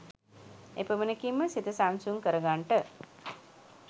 එපමණකින්ම සිත සංසුන් කරගන්ට